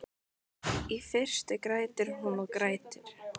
Í fyrstu grætur hún og grætur.